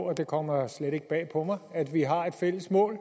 og det kommer slet ikke bag på mig at vi har et fælles mål